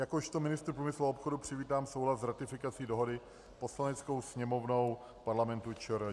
Jakožto ministr průmyslu a obchodu přivítám souhlas s ratifikací dohody Poslaneckou sněmovnou Parlamentu ČR.